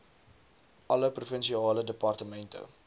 alle provinsiale departemente